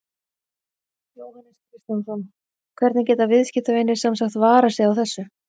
Jóhannes Kristjánsson: Hvernig geta viðskiptavinir sem sagt varað sig á þessu?